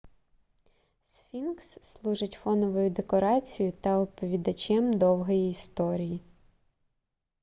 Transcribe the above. сфінкс служить фоновою декорацією та оповідачем довгої історії